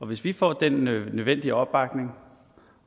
hvis vi får den nødvendige opbakning